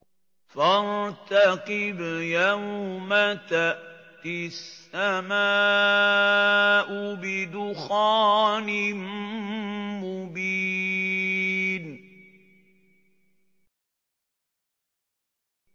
فَارْتَقِبْ يَوْمَ تَأْتِي السَّمَاءُ بِدُخَانٍ مُّبِينٍ